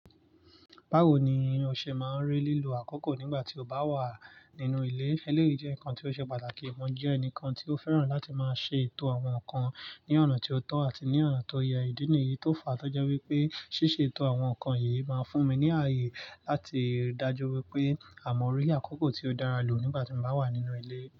Bawo ni o ṣe máa ń rí lílo àkókò nígbà tí o bá wà nínú ilé? Eléyìí jẹ́ nǹkan tí ó ṣe pàtàkì. Mo jẹ́ ẹnìkan tí ó fẹ́ràn láti máa ṣe ètò àwọn nǹkan ní ọ̀nà tí ó tọ́ àti ní ọ̀nà tó yẹ. Ìdí nìyí tó fa, tọ́jú wípé ṣíṣe ètò àwọn nǹkan yìí máa ń fún mi ní ààyè láti dájú wípé àwọn ọ̀rílẹ̀ àkókò tí ó dára lò nígbà tí mo bá wà nínú ilé.